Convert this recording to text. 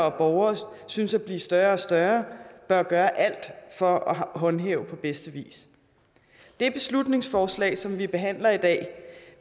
og borgere synes at blive større og større bør gøre alt for at håndhæve på bedste vis det beslutningsforslag som vi behandler i dag